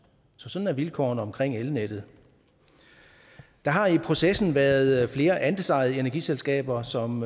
så sådan er vilkårene omkring elnettet der har i processen været flere andelsejede energiselskaber som